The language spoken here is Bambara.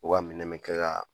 O ka minɛn bɛ kɛ ka